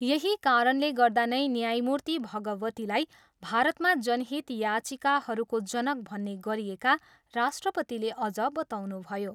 यही कारणले गर्दा नै न्यायमूर्ति भगवतीलाई भारतमा जनहित याचिकाहरूको जनक भन्ने गरिएका राष्ट्रपतिले अझ बताउनुभयो।